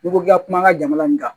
N'i ko k'i ka kuma an ka jamana nin kan